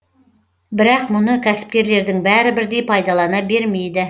бірақ мұны кәсіпкерлердің бәрі бірдей пайдалана бермейді